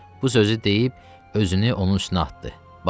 Bu sözü deyib özünü onun üstünə atdı.